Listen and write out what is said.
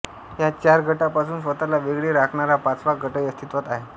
या चार गटांपासून स्वतःला वेगळे राखणारा पाचवा गटही अस्तित्वात आहे